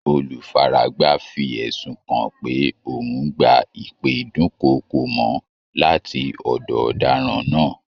Olufaragba fi ẹ̀sùn kan pé òun ń gba ìpè ìdúnkookò-mọ́ láti ọ̀dọ̀ ọ̀daràn náà